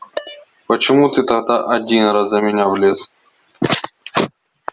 почему ты тогда один раз за меня влез